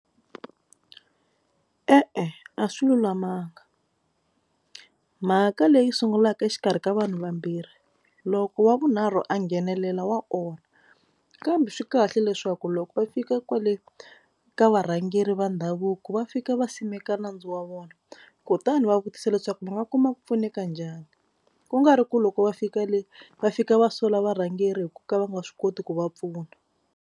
E-e a swi lulamanga mhaka leyi sungulaka exikarhi ka vanhu vambirhi loko wa vunharhu a nghenelela wa onha kambe swi kahle leswaku loko va fika kwale ka varhangeri va ndhavuko va fika va simeka nandzu wa vona kutani va vutisa leswaku va nga kuma ku pfuneka njhani. Ku nga ri ku loko va fika le va fika va sola varhangeri hi ku ka va nga swi koti ku va pfuna.